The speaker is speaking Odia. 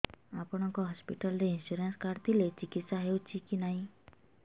ଆପଣଙ୍କ ହସ୍ପିଟାଲ ରେ ଇନ୍ସୁରାନ୍ସ କାର୍ଡ ଥିଲେ ଚିକିତ୍ସା ହେଉଛି କି ନାଇଁ